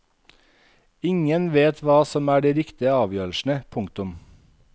Ingen vet hva som er de riktige avgjørelsene. punktum